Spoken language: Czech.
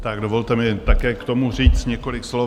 Tak dovolte mi také k tomu říct několik slov.